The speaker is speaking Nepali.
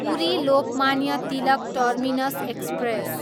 Puri, Lokmanya Tilak terminus express